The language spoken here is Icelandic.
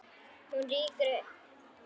Hún rýkur upp.